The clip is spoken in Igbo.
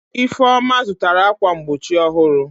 Ifeoma zutara akwa mgbochi ohuru.